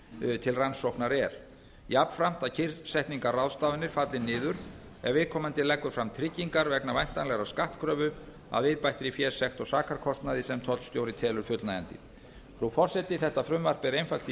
sem til rannsóknar er jafnframt að kyrrsetningarráðstafanir falli niður ef viðkomandi leggur fram tryggingar vegna væntanlegrar skattkröfu að viðbættri fésekt og sakarkostnaði sem tollstjóri telur fullnægjandi frú forseti þetta frumvarp er einfalt í